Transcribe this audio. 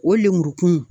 O lemurukun